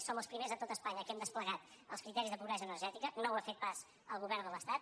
som els primers a tot espanya que hem desplegat els criteris de pobresa energètica no ho ha fet pas el govern de l’estat